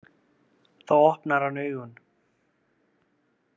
Þá opnar hann augun.